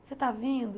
Você está vindo?